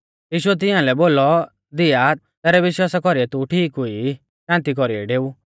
यीशुऐ तिंआलै बोलौ धीया तैरै विश्वासा कौरीऐ तू ठीक हुई ई शान्ति कौरीऐ डेऊ